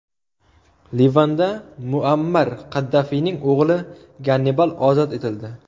Livanda Muammar Qaddafiyning o‘g‘li Gannibal ozod etildi.